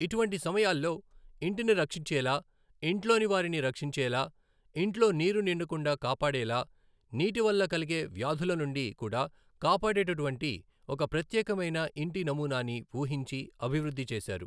ఇటువంటి సమయాల్లో ఇంటిని రక్షించేలా, ఇంట్లోని వారిని రక్షించేలా, ఇంట్లో నీరు నిండకుండా కాపాడేలా, నీటి వల్ల కలిగే వ్యాధుల నుండి కూడా కాపాడేటటువంటి ఒక ప్రత్యేకమైన ఇంటి నమూనాని ఊహించి, అభివృధ్ధి చేశారు.